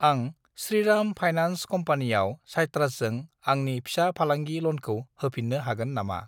आं श्रीराम फाइनान्स कम्पानियाव साइट्रासजों आंनि फिसा फालांगि ल'नखौ होफिन्नो हागोन नामा?